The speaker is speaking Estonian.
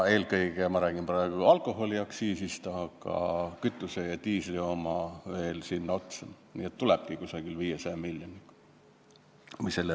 Eelkõige räägin ma praegu alkoholiaktsiisist, aga kütuse ja diisli oma tuleb veel sinna otsa, kokku tuleb umbes 500 miljonit.